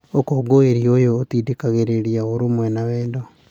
Ũkũngũĩri ũyũ ũtindĩkĩrĩragia ũrũmwe na wendo